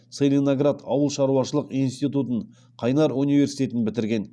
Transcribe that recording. целиноград ауыл шаруашылық институтын қайнар университетін бітірген